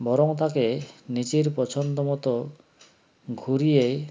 বরং তাকে নিজের পছন্দ মতো ঘুরিয়ে